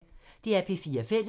DR P4 Fælles